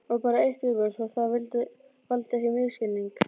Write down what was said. Og bara eitt í viðbót svo það valdi ekki misskilningi.